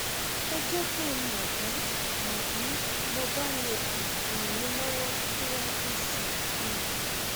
ẹ jẹ kí n mọ bí mo bí mo bá lè um ràn yín lọwọ síwájú sí i um